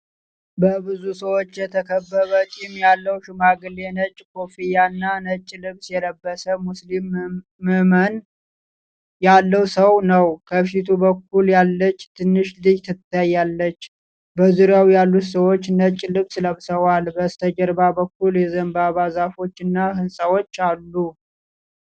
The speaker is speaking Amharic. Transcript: በብዙ ሰዎች የተከበበ ጢም ያለው ሽማግሌ ነጭ ኮፍያና ነጭ ልብስ የለበሰ ሙስሊም እምናእት ያለው ሰው ነው። ከፊቱ በኩል ያለች ትንሽ ልጅ ትታያለች፤ በዙሪያው ያሉት ሰዎችም ነጭ ልብስ ለብሰዋል። በስተጀርባ በኩል የዘንባባ ዛፎች እና ሕንፃዎች አሉ።